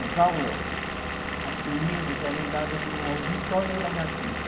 As aulas, as primeiras, eram dadas no auditório da Gazeta.